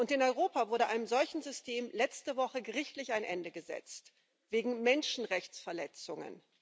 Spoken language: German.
In Europa wurde einem solchen System letzte Woche gerichtlich ein Ende gesetzt wegen Menschenrechtsverletzungen.